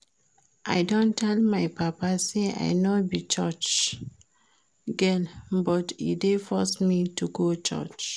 I don tell my papa say I no be church girl but e dey force me to go church